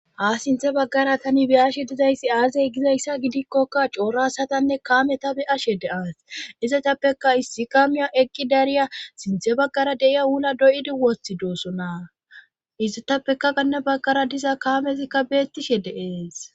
A sinthe baggara tani be ashe dizayssi aasey gizayssa gidikkokka coorasatanne kaameta be ashe de'as izatappeka issi kamiya ekki dariya sinthe baggara deiya uuna doyidi wothi doosonaa itetappeka ganna baggara diza kaamezikka beettishe deees